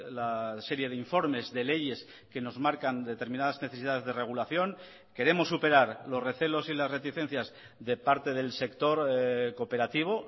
la serie de informes de leyes que nos marcan determinadas necesidades de regulación queremos superar los recelos y las reticencias de parte del sector cooperativo